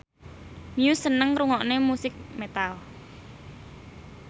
Muse seneng ngrungokne musik metal